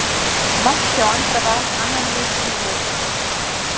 Mark hjá Andra Val annan leikinn í röð.